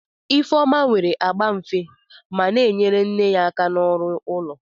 Ifeoma nwere agba dị nfe ma na-enyere nne ya aka ọrụ ụlọ.